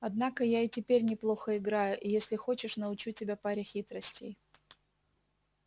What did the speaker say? однако я и теперь неплохо играю и если хочешь научу тебя паре хитростей